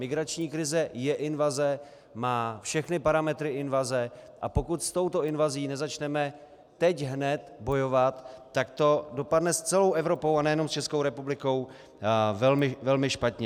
Migrační krize je invaze, má všechny parametry invaze, a pokud s touto invazí nezačneme teď hned bojovat, tak to dopadne s celou Evropou a nejenom s Českou republikou velmi špatně.